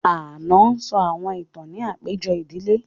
Ànọ́ sọ àwọn ìtàn ní àpéjọ ìdílé